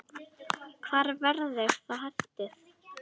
Hvar verður það haldið?